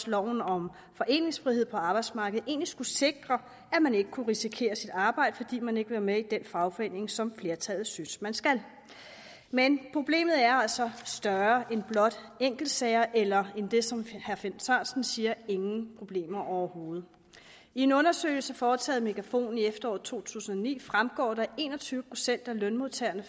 loven om foreningsfrihed på arbejdsmarkedet egentlig skulle sikre at man ikke kunne risikere sit arbejde fordi man ikke vil være med i den fagforening som flertallet synes man skal men problemet er altså større end blot enkeltsager eller end det som herre finn sørensen siger er ingen problemer overhovedet i en undersøgelse foretaget af megafon i efteråret to tusind og ni fremgår det at en og tyve procent af lønmodtagerne